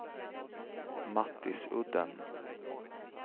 Mattisudden